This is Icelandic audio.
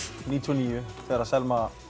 níutíu og níu þegar Selma